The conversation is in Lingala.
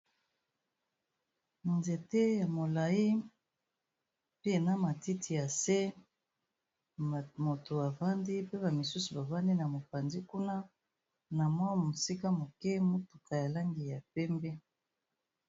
Nzete ya molayi pe na matiti ya se moto avandi pe ba misusu bavandi na mopanzi kuna, na mwa mosika moke motuka ya langi ya pembe.